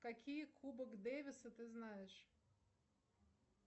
какие кубок дэвиса ты знаешь